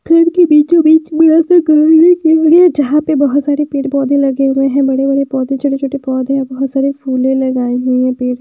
घर के बीचों बीच जहां पे बहोत सारे पेड़ पौधे लगे हुए है बड़े बड़े पौधे छोटे छोटे पौधे और बहोत सारी फूले लगाई हुई है पे--